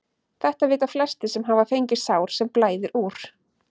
Þetta vita flestir sem hafa fengið sár sem blæðir úr.